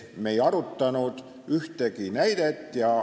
Me ei arutanud ühtegi näidet.